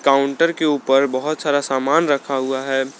Counter के ऊपर बहुत सारा सामान रखा हुआ है।